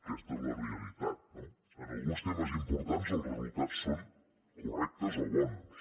aquesta és la realitat no en alguns temes importants els resultats són correctes o bons